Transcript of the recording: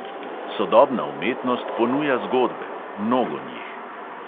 Sodobna umetnost ponuja zgodbe, mnogo njih.